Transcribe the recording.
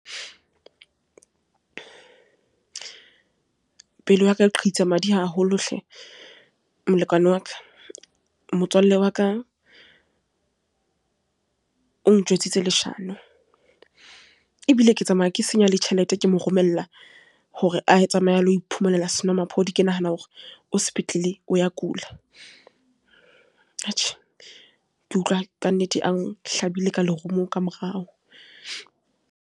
Pelo ya ka qhitsa madi haholo hle molekane wa ka, motswalle wa ka o njwetsitse leshano, ebile ke tsamaya ke senya le tjhelete, ke moromella hore a tsamaye a lo iphumanela senwamaphodi, ke nahana hore o sepetlele o ya kula. Atjhe, ke utlwa ka nnete a hlabile ka lerumo ka morao.